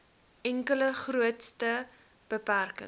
enkele grootste beperking